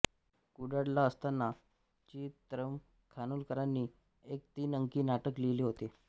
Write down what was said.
कुडाळला असताना चि त्र्यं खानोलकरांनी एक तीन अंकी नाटक लिहिले होते